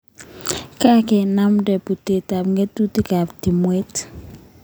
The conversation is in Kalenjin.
Kakenamndae putet ap ng'atutik ap timwek